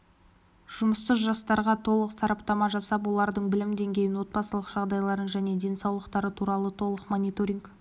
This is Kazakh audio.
жұмыссыз жастарға толық сараптама жасап олардың білім деңгейін отбасылық жағдайларын және денсаулықтары туралы толық мониторинг